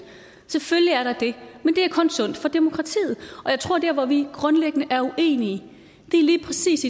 selvfølgelig er der det men det er kun sundt for demokratiet og jeg tror at dér hvor vi grundlæggende er uenige lige præcis